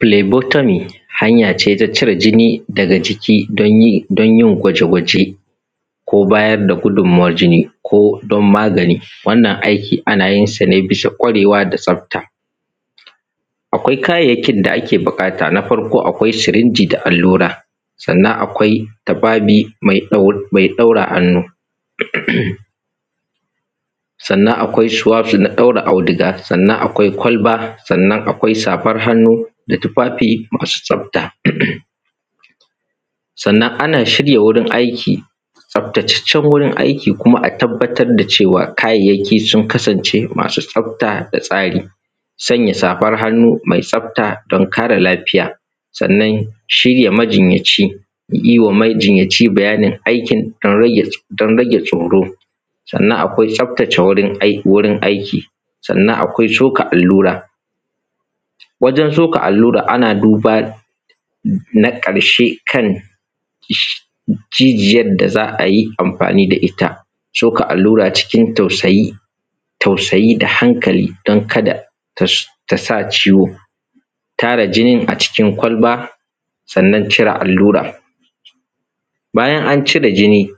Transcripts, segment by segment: Filebotari hanya ce ta cire jini daga jiki danyin gwaje gwaje ko bayar da gudunmuwar jini kodan Magana. Wannan aikin ana yinsa ne bisa kwarewa da tsafta. Akwai kayayyakin da ake buƙata na farko akwai sirinji da allura sannan akwai tufafi mai ɗaure hannu, sannan akai suwaf na ɗaure auduga sannan akwai kwalba, sannan akwai safar hannu, da tufafi masu tsafta. Sannan ana shirin aiki tsaftataccen wurin aiki sannan a tabbatar da cewa kayayyaki sun kasance masu tsafta da tsari. Sanya safar hannu mai tsafta dan kare lafiya, sannan shi majinyaci, yiwa majinyaci bayanin aikin dan rage tsoro. Sannan akwai tsaftacec wurin aiki sannan akwai soka allura. Wajen soka allura ana buba na ƙarshe kan jijiyan da za’ayi amfani da itta. soka allura cikin tausayi da hankali dan kada tasa ciwo, tara jinin a cikin kwalba sannan cire allura. Bayan an cire jini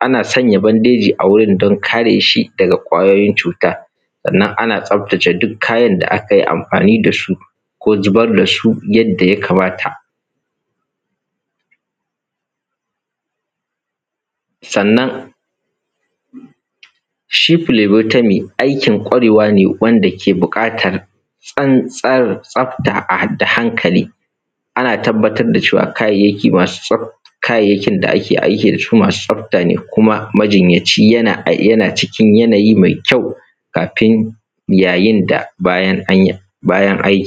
ana sanya bandeji a wurin dan kareshi daga kwayoyin cuta, sannan ana tsaftace duk kayan da akayi amfani dasu ko zubar dasu yadda ya kamata. Sannan shi filebotami aikin kwarewa ne wanda ke buƙatar tsantsan tsafta da hankali, ana tabbatar da cewa kayayyakin da ake aiki dasu masu tsafta ne kuma majinyacin yana cikin yanayi mai kyau kafin yayin da bayan anyi.